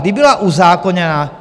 Kdy byla uzákoněna?